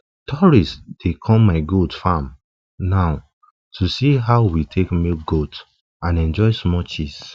um tourists dey come my dey come my goat um farm now to see how we take milk goat and enjoy small cheese